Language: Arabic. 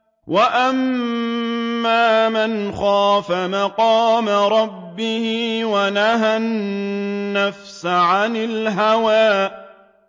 وَأَمَّا مَنْ خَافَ مَقَامَ رَبِّهِ وَنَهَى النَّفْسَ عَنِ الْهَوَىٰ